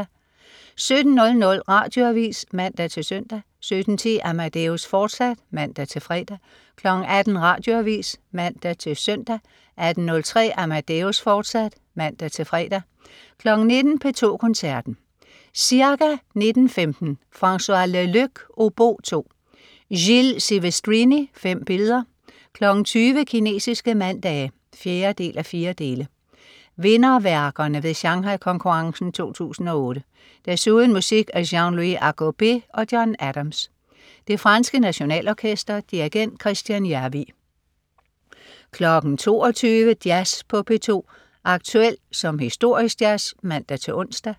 17.00 Radioavis (man-søn) 17.10 Amadeus, fortsat (man-fre) 18.00 Radioavis (man-søn) 18.03 Amadeus, fortsat (man-fre) 19.00 P2 Koncerten. Ca.19.15 Francois Leleux, obo II. Gilles Sivestrini: 5 Billeder. 20.00 Kinesiske mandage 4:4. Vinderværkerne ved Shanghai-konkurrencen 2008. Desuden musik af Jean-Louis Agobet og John Adams. Det franske Nationalorkester. Dirigent: Kristjan Järvi 22.00 Jazz på P2. Aktuel som historisk jazz (man-ons)